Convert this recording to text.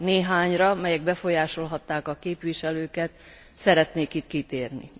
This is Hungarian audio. Néhányra, melyek befolyásolhatták a képviselőket, szeretnék itt kitérni.